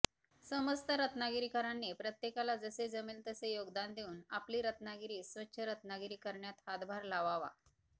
समस्त रत्नागिरीकरांनी प्रत्येकाला जसे जमेल तसे योगदान देऊन आपली रत्नागिरी स्वच्छ रत्नागिरी करण्यात हातभार लावावा